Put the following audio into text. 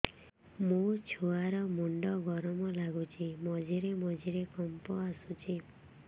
ମୋ ଛୁଆ ର ମୁଣ୍ଡ ଗରମ ଲାଗୁଚି ମଝିରେ ମଝିରେ କମ୍ପ ଆସୁଛି